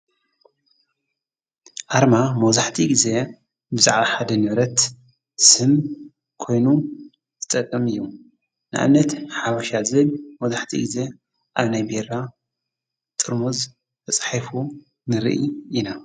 ኣርማ ሞዙሕቲ ጊዜ ብዛዕሓደነይረት ስም ኮይኑ ዝጠቕም እዩ ንኣነት ሓወሻ ዝብ ሞዙሕቲ ጊዜ ኣብ ናይ ቤራ ጥርሙዝ ተጽሒፉ ንርኢ ኢና።